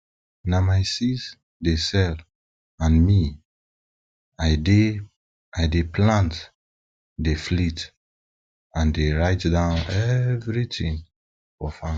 na my sis dey sell and me i dey i dey plant dey flit and dey write down everything for farm